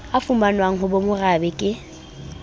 a fumanwang ho bomarabe ke